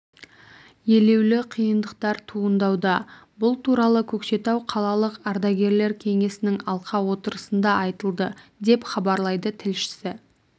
елеулі қиындықтар туындауда бұл туралы көкшетау қалалық ардагерлер кеңесінің алқа отырысында айтылды деп хабарлайды тілшісі